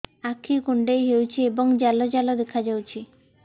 ଆଖି କୁଣ୍ଡେଇ ହେଉଛି ଏବଂ ଜାଲ ଜାଲ ଦେଖାଯାଉଛି